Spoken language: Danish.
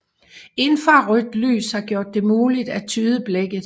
Infrarødt lys har gjort det muligt at tyde blækket